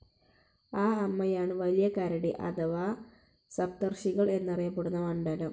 ആ അമ്മയാണ് വലിയ കരടി അഥവാ സപ്തർഷികൾ എന്നറിയപ്പെടുന്ന മണ്ഡലം.